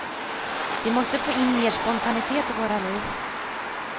Vi måste få in mer spontanitet i våra liv.